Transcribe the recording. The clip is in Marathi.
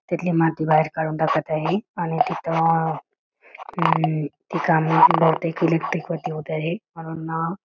तिथली माती बाहेर काडून टाकत आहे आणि तिथं ती काम बहुतेक इलेक्ट्रिक वरती होत आहे.